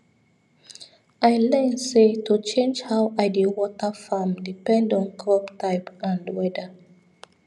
i learn say to change how i dey water farm depend on crop type and weather